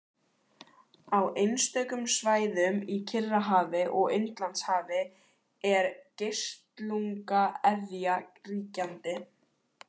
Á einstökum svæðum í Kyrrahafi og Indlandshafi er geislunga-eðja ríkjandi.